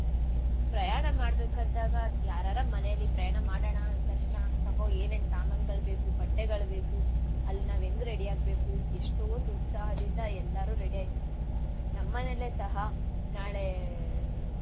ಪ್ರಯಾಣ ಮಾಡ್ಬೇಕಂದಾಗ ಯಾರಾರ ಮನೇಲಿ ಪ್ರಯಾಣ ಮಾಡಣ ಅಂದ್ತಕ್ಷ್ಣ ತಗೋ ಏನೇನ್ ಸಾಮಾನ್ಗಳ್ ಬೇಕು ಬಟ್ಟೆಗಳ್ ಬೇಕು ಅಲ್ ನಾವ್ ಎಂಗ್ ready ಆಗ್ಬೇಕು ಎಷ್ಟೋಂದ್ ಉತ್ಸಾಹದಿಂದ ಎಲ್ಲಾರೂ ready ಆಯ್ತೀವಿ. ನಮ್ಮನೇಲೆ ಸಹಾ ನಾಳೆ.